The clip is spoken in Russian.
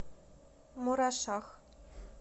мурашах